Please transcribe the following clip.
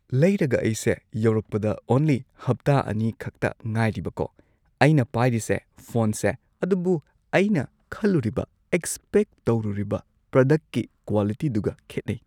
ꯂꯩꯔꯒ ꯑꯩꯁꯦ ꯌꯧꯔꯛꯄꯗ ꯑꯣꯡꯂꯤ ꯍꯞꯇꯥ ꯑꯅꯤ ꯈꯛꯇ ꯉꯥꯏꯔꯤꯕꯀꯣ ꯑꯩꯅ ꯄꯥꯏꯔꯤꯁꯦ ꯐꯣꯟꯁꯦ ꯑꯗꯨꯕꯨ ꯑꯩꯅ ꯈꯜꯂꯨꯔꯤꯕ ꯑꯦꯛꯁꯄꯦꯛ ꯇꯧꯔꯨꯔꯤꯕ ꯄ꯭ꯔꯗꯛꯀꯤ ꯀ꯭ꯋꯥꯂꯤꯇꯤꯗꯨꯒ ꯈꯦꯠꯅꯩ꯫